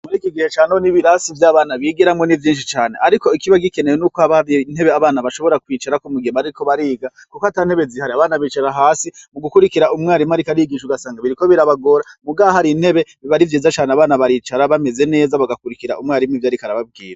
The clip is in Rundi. Muri kigihe cane ho n'ibirasi vy'abana bigeramo nivyinshi cyane ariko ikiba gikenewe n'uko abari intebe abana bashobora kwicarako mugihe bariko bariga kuko ata ntebe zihari abana bicara hasi mu gukurikira umwarimu ariko arigisha ugasanga biriko birabagora mugahari intebe ibarivyiza cyane abana baricara bameze neza bagakurikira umwarimu ivyo ariko arababwira.